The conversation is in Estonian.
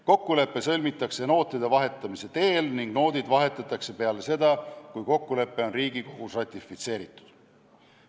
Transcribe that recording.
Kokkulepe sõlmitakse nootide vahetamise teel ning noodid vahetatakse peale seda, kui kokkulepe on Riigikogus ratifitseeritud.